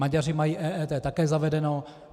Maďaři mají EET také zavedeno.